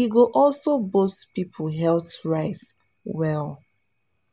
e go also boost people health rights well.